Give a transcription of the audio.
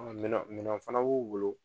Minɔ minɛn fɛnɛ b'u bolo